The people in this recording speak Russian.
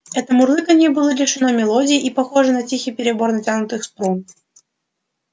это мурлыканье было лишено мелодии и похоже на тихий перебор натянутых струн